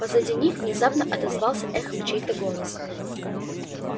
позади них внезапно отозвался эхом чей-то голос